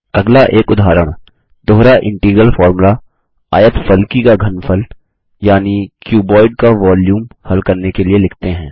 अगला एक उदाहरण दोहरा इंटीग्रल फोर्मुला आयतफलकी का घनफल यानि क्युबोइड का वोल्यूम हल करने के लिए लिखते हैं